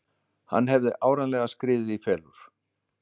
Hann hafði áreiðanlega skriðið í felur.